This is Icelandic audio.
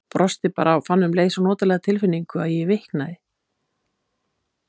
Brosti bara og fann um leið svo notalega tilfinningu að ég viknaði.